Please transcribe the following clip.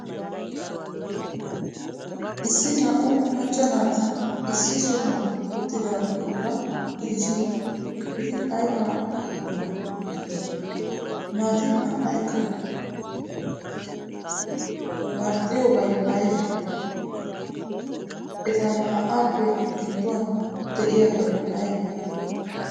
Issi naa''u macca naati iss sohuwan uttidaageeta gidishin, eti aybaa bollan uttidonaa? Naati naa''ykka marxxidobay aybee? Eta naa''aappe gidduwan de'iyaabay aybee?